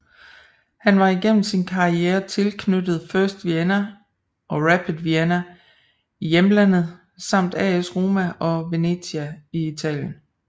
Han var igennem sin karriere tilknyttet First Vienna og Rapid Wien i hjemlandet samt AS Roma og Venezia i Italien